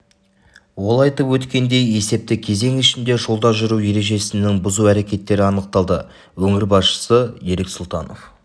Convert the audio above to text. ол айтып өткендей есепті кезең ішінде жолда жүру ережесінің бұзу әрекеттері анықталды өңір басшысы ерік сұлтанов